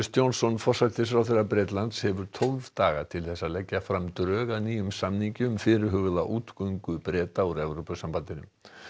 Johnson forsætisráðherra Bretlands hefur tólf daga til þess að leggja fram drög að nýjum samningi um fyrirhugaða útgöngu Breta úr Evrópusambandinu